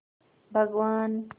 भगवान्